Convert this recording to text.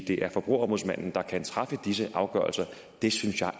det er forbrugerombudsmanden der kan træffe disse afgørelser det synes jeg